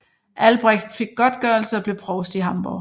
Albrecht fik godtgørelse og blev provst i Hamborg